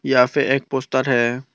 यहां फे एक पोस्टर है।